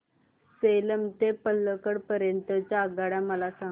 सेलम ते पल्लकड पर्यंत च्या आगगाड्या मला सांगा